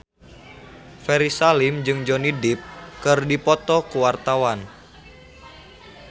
Ferry Salim jeung Johnny Depp keur dipoto ku wartawan